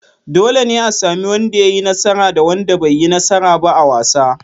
Dole ne a sami wanda ya yi nasara da wanda bai yi nasara ba a wasa.